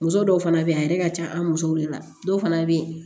Muso dɔw fana bɛ yen a yɛrɛ ka ca an musow de la dɔw fana bɛ